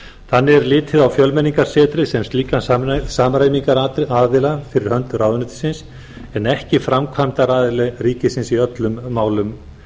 þannig er litið á fjölmenningarsetrið sem slíkan samræmingaraðila fyrir hönd ráðuneytisins en ekki framkvæmdaraðila ríkisins í öllum málum